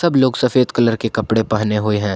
लोग सफेद कलर के कपड़े पहने हुए हैं।